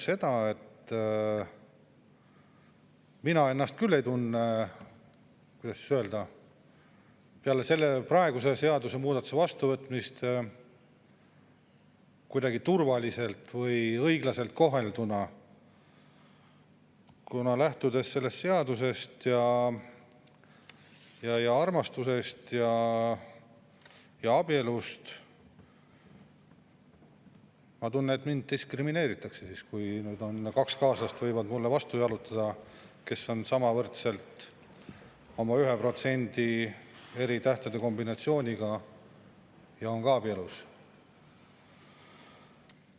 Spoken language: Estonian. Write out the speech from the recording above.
Mina küll ei tunne, kuidas öelda, peale selle seadusemuudatuse vastuvõtmist ennast kuidagi turvaliselt või õiglaselt kohelduna, kuna lähtudes sellest seadusest ning armastusest ja abielust, tunnen ma, et mind diskrimineeritakse, kui mulle võivad vastu jalutada kaks kaaslast, kes on sama võrdsed oma 1% eri tähtede kombinatsiooniga ja on ka abielus.